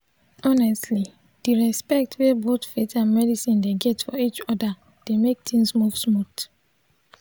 honestly di respect wey both faith and medicine dey get for each other dey mek things move smooth.